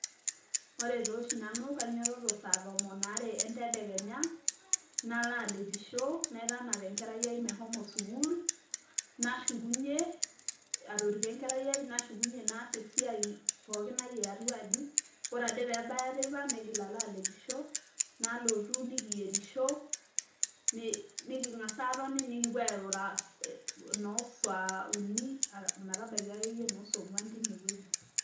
Ore toshi nanu, kainyototo sa tomon are endedekenya, nala alepisho, naitanap enkerai ai meshomo sukuul, nashukunye, atoriko enkerai ai, nashukunye naas esiai pookin ai eatua aji. Ore ade pebaya teipa, naigil ala alepisho, nalotu nikiyierisho, niking'asa atoni, nikipuo airura nosaa uni, ometabaiki akeyie nosong'uan tinewueji.